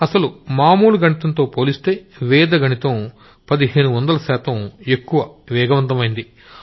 అసలు మామూలు గణితంతో పోలిస్తే వేద గణితం పదిహేను వందల శాతం ఎక్కువ వేగవంతమైంది